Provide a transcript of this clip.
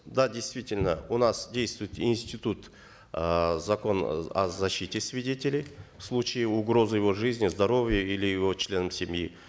да действительно у нас действует институт э закон о защите свидетелей в случае угрозы его жизни здоровья или его членам семьи